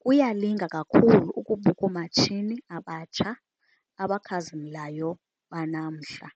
Kuyalinga kakhulu ukubuka oomatshini abatsha abakhazimlayo banamhla,